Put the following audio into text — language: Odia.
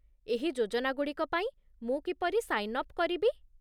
ଏହି ଯୋଜନାଗୁଡ଼ିକ ପାଇଁ ମୁଁ କିପରି ସାଇନ୍ ଅପ୍ କରିବି?